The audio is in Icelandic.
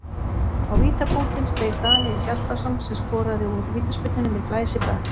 Á vítapunktinn steig Daníel Hjaltason sem skoraði úr vítaspyrnunni með glæsibrag.